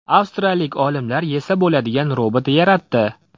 Avstriyalik olimlar yesa bo‘ladigan robot yaratdi.